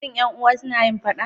Shi 'yan uwa suna yin faɗa?